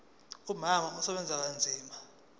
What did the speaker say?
umama usebenza kanzima